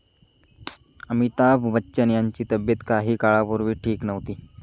अमिताभ बच्चन यांची तब्येत काही काळापूर्वी ठीक नव्हती.